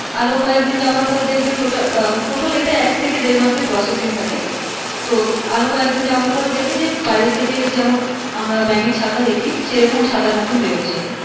আরো কয়েকদিন যাওয়ার পর দেখবে total এইটা একথেকে দেড়মাস এর processing থাকে তো আরো কয়েকদিন যাওয়ার পরে দেখবে যে বাইরে থেকে যেমন আমরা ব্যাঙের ছাতা দেখি সেরকম ছাতার মতো বেড়াচ্ছে